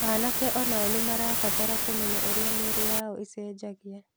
Anake o nao nĩ marabatara kũmenya ũrĩa mĩĩrĩ yao ĩcenjagia.